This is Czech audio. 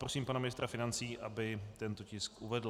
Prosím pana ministra financí, aby tento tisk uvedl.